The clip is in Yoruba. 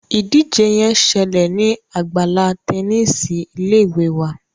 ìdíje yén ṣẹlẹ ní Àgbàlá Tẹníìsì ilé ìwé wá.